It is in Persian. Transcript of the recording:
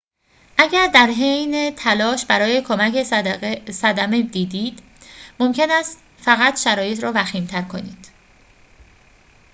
اگر در حین تلاش برای کمک صدمه دیدید ممکن است فقط شرایط را وخیم‌تر کنید